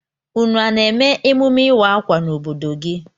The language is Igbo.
Ụnụ a na-eme emume ịwa akwa n'obodo gị?